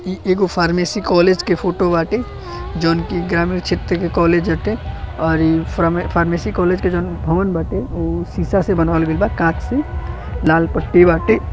ई एगो pharmacy college के फोटो बाटे जऊन की ग्रामीण क्षेत्र के कॉलेज हटे और ई फार्मेंसी कॉलेज के जोन भवन बाटे उ शीशा से बनावल गईल बा कांच से लाल पट्टी बाटे।